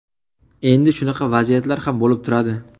Endi shunaqa vaziyatlar ham bo‘lib turadi.